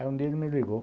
Aí um dia ele me ligou.